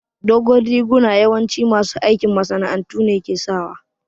Dogon riguna yawanci masu aikin masana'antu ne ke sa